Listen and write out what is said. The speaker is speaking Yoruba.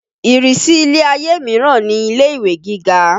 Ìrísí ilé-ayé míràn ni ilé-ìwé gíga